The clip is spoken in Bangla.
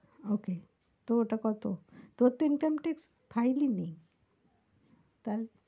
Okay তোর ওটা কত? তোর তো Income tax file ই নেই তাহলে?